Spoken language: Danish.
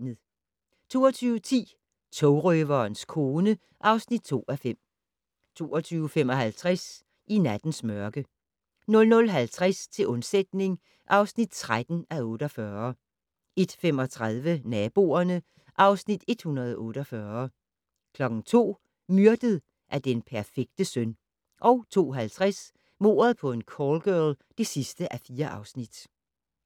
22:10: Togrøverens kone (2:5) 22:55: I nattens mørke 00:50: Til undsætning (13:48) 01:35: Naboerne (Afs. 148) 02:00: Myrdet af den perfekte søn 02:50: Mord på en callgirl (4:4)